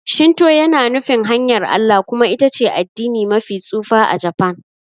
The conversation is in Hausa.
Shinto yana nufin 'hanyar Allah' kuma ita ce addini mafi tsufa a Japan.